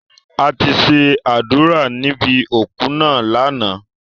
A ti ṣe àdúrà níbi òku náà lánàá.